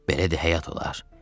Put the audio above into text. Belə də həyat olar?